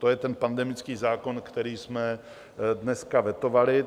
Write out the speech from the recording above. To je ten pandemický zákon, který jsme dneska vetovali.